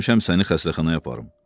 Gəlmişəm səni xəstəxanaya aparım.